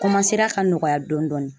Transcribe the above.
ka nɔgɔya dɔɔnin.